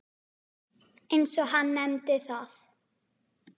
eins og hann nefndi það.